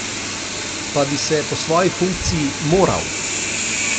Pa bi se po svoji funkciji moral.